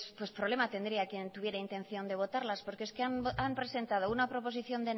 pues problema tendría quien tuviera intención de votarlas porque es que han presentado una proposición